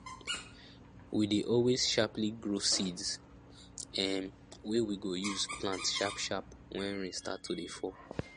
we dey always sharply grow seeds um wey we go use plant sharp sharp when rain start to dey fall